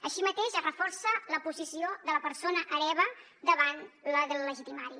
així mateix es reforça la posició de la persona hereva davant la del legitimari